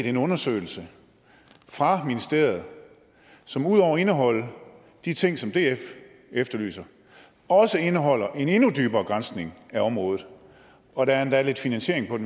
en undersøgelse fra ministeriet som ud over at indeholde de ting som df efterlyser også indeholder en endnu dybere granskning af området og der er endda lidt finansiering